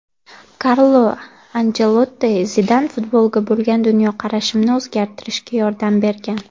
Karlo Anchelotti: Zidan futbolga bo‘lgan dunyoqarashimni o‘zgartirishga yordam bergan.